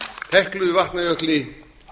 heklu vatnajökli